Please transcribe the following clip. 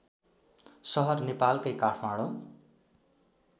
सहर नेपालकै काठमाडौँ